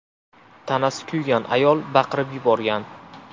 Tanasi kuygan ayol baqirib yuborgan.